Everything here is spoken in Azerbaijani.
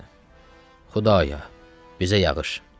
Xudaya, bizə yağış.